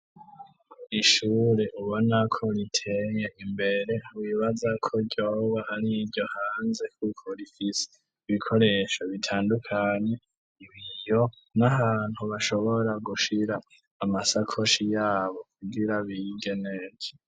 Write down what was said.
Ishure ubonako riteye imbere wibaza ko ryoba ari iryo hanze ,k'uko rifise ibikoresho bitandukanye, ibiyo n'ahantu bashobora gushira amasakoshi yabo, kugira bige neza.